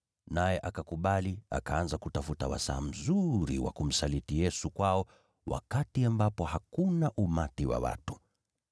Naye akakubali, akaanza kutafuta wakati uliofaa wa kumsaliti Yesu kwao, wakati ambapo hakuna umati wa watu.